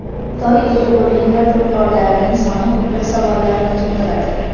Xitoy ega bo‘lgan yadro qurollarining soni ko‘plab savollarni tug‘diradi.